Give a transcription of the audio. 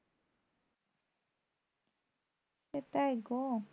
সেটাই গো